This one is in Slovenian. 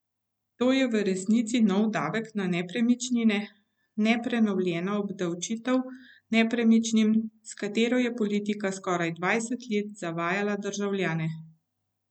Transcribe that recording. To je v resnici novi davek na nepremičnine, ne prenovljena obdavčitev nepremičnin, s katero je politika skoraj dvajset let zavajala državljane.